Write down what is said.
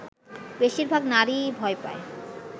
বেশিরভাগ নারীই ভয় পায়